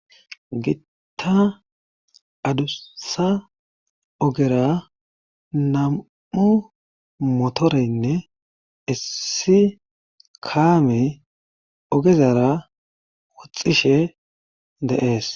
gitta adusa ogera nam7u motoreynne issi kaamey ogezara woxxishe de,es